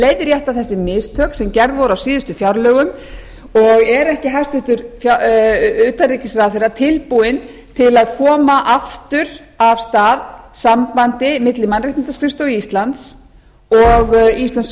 leiðrétta þessi mistök sem gerð voru á síðustu fjárlögum og er ekki hæstvirtur utanríkisráðherra tilbúinn til að koma aftur af stað sambandi milli mannréttindaskrifstofu íslands og íslenskra